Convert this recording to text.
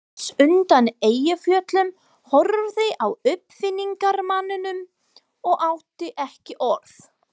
Venus undan Eyjafjöllum horfði á uppfinningamanninn og átti ekki orð.